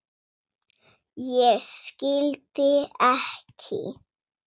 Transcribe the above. Ég skildi ekki.